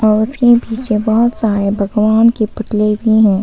पीछे बहोत सारे भगवान के पतले भी हैं।